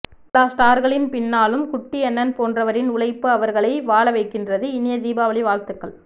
எல்லா ஸ்டார்களின் பின்னாலும் குட்டியண்ணன் போன்றவரின் உழைப்பு அவர்களை வாழவைகின்றது இனிய தீபாவளி வாழ்த்துக்கள்